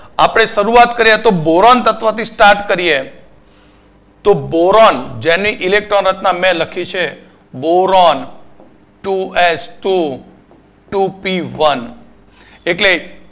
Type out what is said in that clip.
આપણે શરૂઆત કારીએ તો boron તત્વો થી start કરીએ તો boron જેની Electron રચના મી લખી છે boron two S Two Two P One એટલે